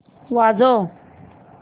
वाजव